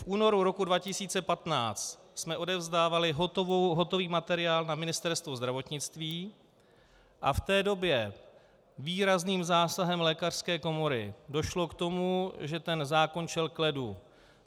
V únoru roku 2015 jsme odevzdávali hotový materiál na Ministerstvo zdravotnictví a v té době výrazným zásahem lékařské komory došlo k tomu, že ten zákon šel k ledu.